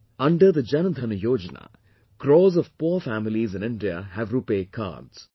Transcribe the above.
Under Jan Dhan Yojana, crores of poor families in India have Rupay Cards